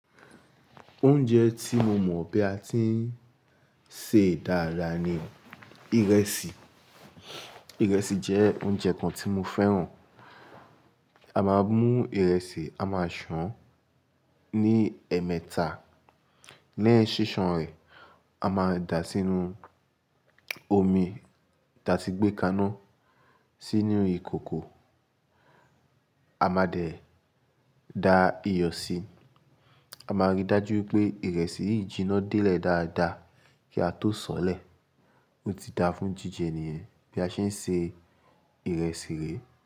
Oúnjẹ tí mo mọ̀ bí a ti ń ṣe dára ni ìrẹsì. Ìrẹsì jẹ́ oúnjẹ kan tí mo fẹ́ràn. A máa mú ìrẹsì, a máa sàn án ní ẹ̀ẹ̀mẹta, lẹ́yin ṣíṣan rẹ̀, a máa da sínú omi da ti gbé kaná sínú ìkòkò, a máa dẹ̀ da iyọ̀ sí i. A máa ríi dájú pé ìrẹsì yìí jiná dé lè dáadáa kí a tó sọ̀lẹ̀. Ó ti da fún jíjẹ nìyen bí a ṣe ń se ìrẹsì re.